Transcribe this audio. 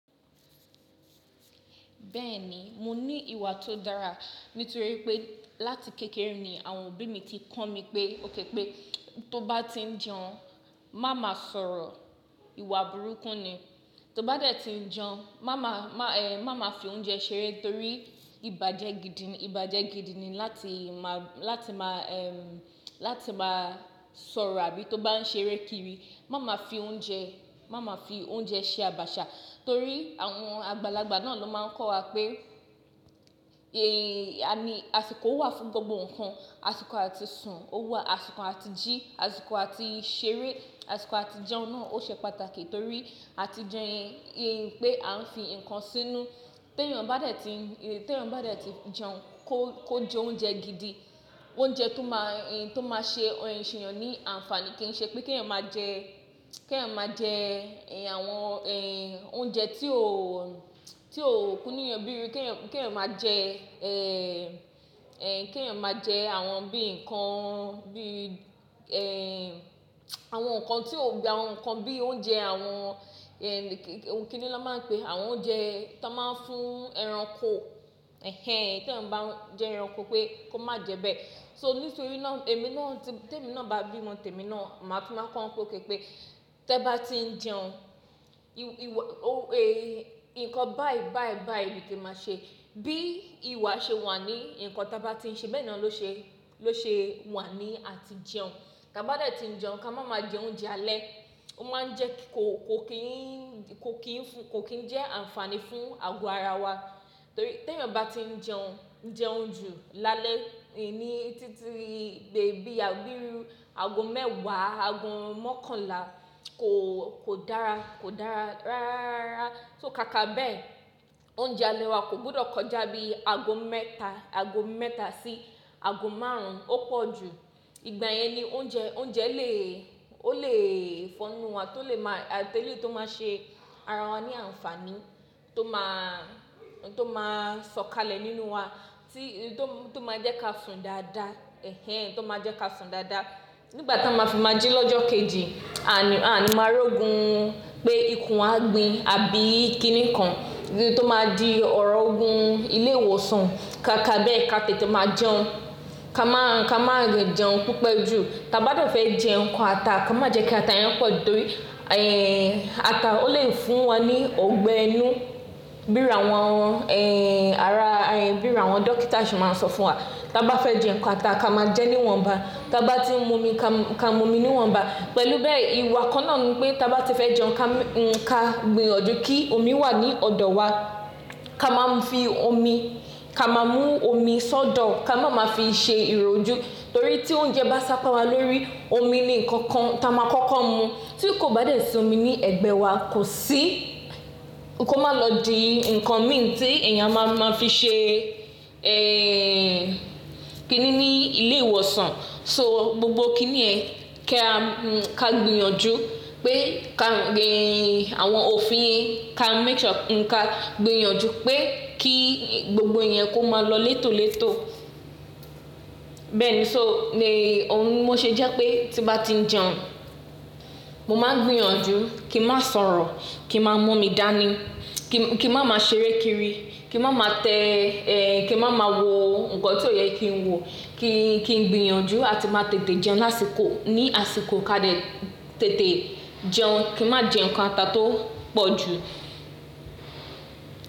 Bẹ́ẹ̀ni, mo ní ìwà tó dára nítorí pé láti kékeré ni àwọn òbí mi ti kọ mí pé ó kẹ́kẹ́ tó bá ti ń jẹun má má sọ̀rọ̀, ìwà burúkú ni. Tó bá dẹ̀ ti ń jẹun má má, má, ẹ́, má má fi oúnjẹ ṣeré torí ìbàjẹ́ gidi ni, ìbàjẹ́ gidi ni láti má, láti má, ẹ́, láti má sọ̀rọ̀ àbí tó bá ń ṣeré kiri má má fi oúnjẹ, má má fi oúnjẹ ṣe àbàṣà torí àwọn àgbàlagbà náà ló máa ń kọ́ wa pé, ẹ́, a ní, àsìkò wà fún gbogbo nǹkan, àsìkò àti sùn, ó wà, àsìkò àti jí, àsìkò àti ṣeré, àsìkò àti jẹun náà ó ṣe pàtàkì torí àti jẹun yẹn yé pẹ́ a ń fi ǹkan sínú. Ti eẹ́yan bá dẹ̀ ti ń, ti eẹ́yan bá dẹ̀ ti ń jẹun kó, kó jẹ oúnjẹ gidi, oúnjẹ tó má, tó má ṣe ọ̀rọ̀ ìṣẹ̀yàn ní àǹfàní kìí ṣe pé kí ẹ̀yàn máa jẹ, kí ẹ̀yàn máa jẹ, ẹ́, àwọn, ẹ́, oúnjẹ tí ò, tí ò kúnú eeyàn bíi ru kí ẹ̀yàn, kí ẹ̀yàn máa jẹ, ẹ́, ẹ́, kí ẹ̀yàn máa jẹ àwọn bíi ǹkan bíi, ẹ́, àwọn ǹkan tí ò gba, àwọn ǹkan bíi oúnjẹ àwọn, ẹ́, kíni ló máa ń pẹ́? Àwọn oúnjẹ tó máa ń fún ẹranko, ẹhẹ́n, kí ẹ̀yàn bá ń jẹ ẹranko pé kó má jẹ bẹ́ẹ̀. So nítorí náà èmi náà tí tẹ́mi náà bá bí mo tẹ́mi náà màá tún máa kọ́ wọn pé ó kẹ́kẹ́ tí ẹ bá ti ń jẹun ìwọ, ó, ẹ́, ǹkan báì báì báì ni ki máa ṣe. Bí ìwà ṣe wà ní ǹkan tí a bá ti ń ṣe bẹ́ẹ̀ náà ló ṣe, ló ṣe wà ní àti jẹun. Ka bá dẹ̀ ti ń jẹun ka má má jẹ oúnjẹ alẹ́. Ó máa ń jẹ kó, kó kì í, kó kì í fún, kó kì í jẹ́ àǹfàní fún ago ara wa torí ti eẹ́yan bá ti ń jẹun, jẹún jú ni álẹ́, ẹ́, ní títí dé bí, àbí ru ago mẹ́wàá, ago mọ́kànlá kò, kò dára, kò dára rárá. So ká ká bẹ́ẹ̀ oúnjẹ alẹ́ wa kò gbọdọ̀ kọjá bí ago mẹ́ta, ago mẹ́ta sí ago márùn-ún ó pọ̀ ju. Ìgbà yẹn ni oúnjẹ, oúnjẹ lè, ó lè fọnu wa torí lè má, tẹ́lẹ̀ tó máa ṣe ara wa ní àǹfàní tó má, tó má sọ̀kalẹ̀ nínú wa tí, tó, tó máa jẹ́ ká sùn dáadáa, ẹhẹ́n, tó máa jẹ́ ká sùn dáadáa. Nígbà tó máa fi máa jẹ lọ́jọ́ kejì, àní, àní máa rí ogun pé ikùn á gbin àbí kíni kan tó máa di ọ̀rọ̀ ogun ilé ìwòsàn ká ká bẹ́ẹ̀ ká tètè máa jẹun. Ka má, ka má rẹ̀ jẹun pipe ju. Ta bá dẹ̀ fẹ́ jẹ ǹkan ata ká má jẹ kí ata yẹn pọ̀ju torí, ẹ́, ata ó lè fún wa ní ọ̀gbẹ́ ẹnú bí iru àwọn, ẹ́, ara, ẹ́, bí i àwọn dókítà ṣe máa ń sọ fún wa. Ta bá fẹ́ jẹ ǹkan ata ká máa jẹ níwọ̀nba, ta bá ti ń mú omi ka, ka mú omi níwọ̀nba. Pẹ̀lú bẹ́ẹ̀ ìwà kan náà ni pé ti aa bá ti fẹ́ jẹun ka, ka gbìyànjú kí omi wà ní ọ̀dọ̀ wa. Ka máa ń fi omi, ka máa mú omi sódò, ká máa máa fi ṣe ìrojú torí tí oúnjẹ bá sápá wa lórí omi ni ǹkan kan tí a máa kọ́kọ́ mú. Tí kò bá dẹ̀ sí omi ní ẹ̀gbẹ́ wa kò sí, kó má lọ di ǹkan mìíràn tí èèyàn má, máa fi ṣe, ẹ́, kíni ní ilé ìwòsàn. So gbogbo kíni ẹ, ká, ká gbìyànjú pé ká gbìn, àwọn òfin yẹn ká make sure n ká gbìyànjú pé kí gbogbo iyẹn kó máa lọ létòlétò. Bẹ́ẹ̀ ni so ní òhun ni mo ṣe jẹ́ pé tí bá ti ń jẹun mo máa gbìyànjú kí n má sọ̀rọ̀, kí n má mú omi dání, kí, kí n má má ṣeré kiri, kí n má má tẹ, ẹ́, kí n má má wọ ǹkan tí ò yẹ kí n wọ, kí, kí n gbìyànjú àti má tètè jẹun lásìkò, ní àsìkò ká dẹ̀ tètè jẹun. Kí n má jẹ ǹkan ata tó pọ̀ ju.